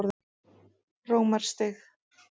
Rómarstíg